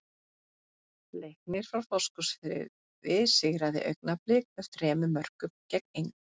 Leiknir frá Fáskrúðsfirði sigraði Augnablik með þremur mörkum gegn engu.